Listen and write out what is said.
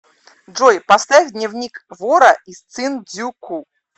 джой поставь дневник вора из цин дзю ку